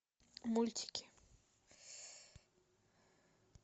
мультики